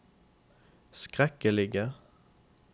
skrekkelige